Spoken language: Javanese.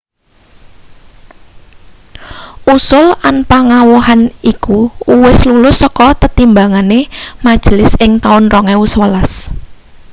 usul anpangowahan iku uwis lulus saka tetimbangane majelis ing taun 2011